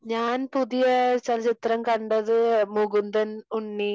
ഞാൻ പുതിയ ചലച്ചിത്രം കണ്ടത് മുകുന്ദൻ ഉണ്ണി